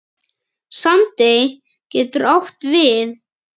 Sandey getur átt við